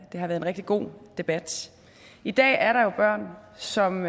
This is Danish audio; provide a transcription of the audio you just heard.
har været rigtig god debat i dag er der jo børn som